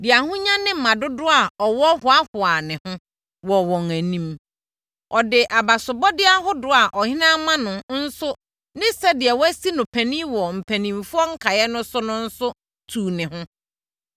de ahonya ne mma dodoɔ a ɔwɔ hoahoaa ne ho wɔ wɔn anim. Ɔde abasobɔdeɛ ahodoɔ a ɔhene ama no nso ne sɛdeɛ wɔasi no panin wɔ mpanimfoɔ nkaeɛ no so no nso, tuu ne ho.